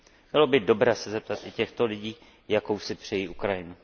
Bylo by dobré se zeptat i těchto lidí, jakou si přejí Ukrajinu.